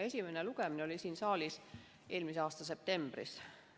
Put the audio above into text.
Esimene lugemine oli siin saalis eelmise aasta septembris.